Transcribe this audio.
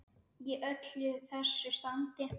Í öllu þessu standi.